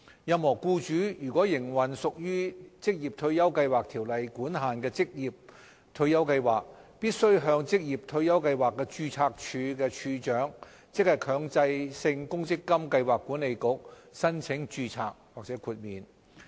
任何僱主如果營運屬《條例》管限的退休計劃，必須向職業退休計劃註冊處處長，即強制性公積金計劃管理局申請註冊或豁免。